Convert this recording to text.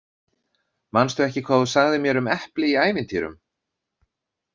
Manstu ekki hvað þú sagðir mér um epli í ævintýrum?